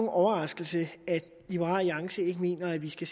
overraskelse at liberal alliance ikke mener at vi skal